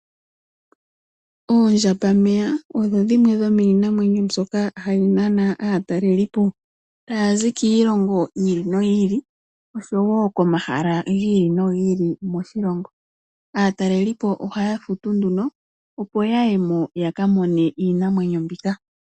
Oondjambameya odho dhimwe dhomiinamwenyo mbyoka hayi nana aatalelipo. Oha yazi kiilongo yi ili noyi ili, oshowo komahala gi ili nogi ili moshilongo. Aatalelipo ohaya futu nduno opo yayemo yaka mone iinamwenyo mbika.